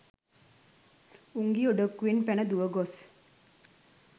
උංගී ඔඩොක්කුවෙන් පැන දුව ගොස්